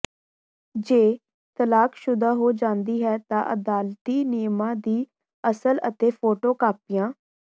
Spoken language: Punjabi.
ਜੇ ਤਲਾਕਸ਼ੁਦਾ ਹੋ ਜਾਂਦੀ ਹੈ ਤਾਂ ਅਦਾਲਤੀ ਨਿਯਮਾਂ ਦੀ ਅਸਲ ਅਤੇ ਫੋਟੋ ਕਾਪੀਆਂ